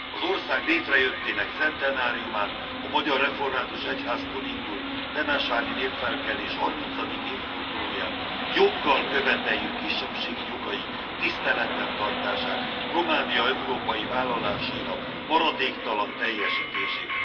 Az ország létrejöttének centenáriumán, a magyar református egyháztól indult temesvári népfelkelés 30. évfordulóján joggal követeljük kisebbségi jogaink tiszteletben tartását, Románia európai vállalásainak maradéktalan teljesítését.